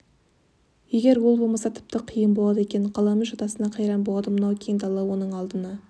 егер ол болмаса тіпті қиын болады екен қаламүш атасына қайран болады мынау кең дала оның алдына